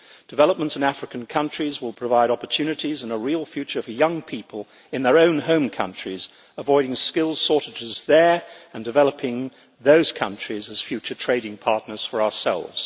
Development in African countries will provide opportunities and a real future for young people in their own home countries, avoiding skills shortages there and developing those countries as future trading partners for ourselves.